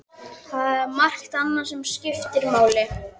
Það er margt annað sem skiptir máli.